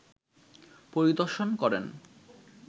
পরিদর্শন করেন